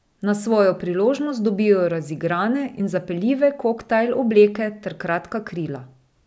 Naj svojo priložnost dobijo razigrane in zapeljive koktajl obleke ter kratka krila.